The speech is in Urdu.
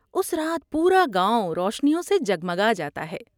اس رات پورا گاؤں روشنیوں سےجگمگا جاتا ہے۔